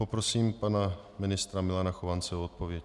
Poprosím pana ministra Milana Chovance o odpověď.